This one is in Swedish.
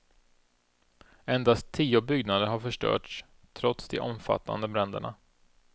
Endast tio byggnader har förstörts trots de omfattande bränderna.